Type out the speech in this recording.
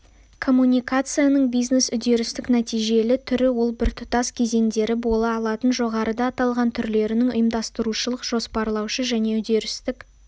комуникацияның бизнес үдерістік-нәтижелі түрі ол біртұтас кезеңдері бола алатын жоғарыда аталған түрлерінің ұйымдастырушылық-жоспарлаушы және үдерістік